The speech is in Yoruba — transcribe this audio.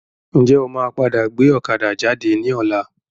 Ǹjẹ́ o máa padà gbé ọ̀kadà jáde ní ọ̀la?